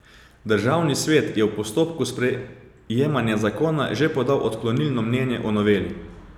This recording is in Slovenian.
Državni svet je v postopku sprejemanja zakona že podal odklonilno mnenje o noveli.